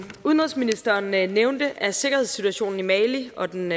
udenrigsministeren nævnte er sikkerhedssituationen i mali og den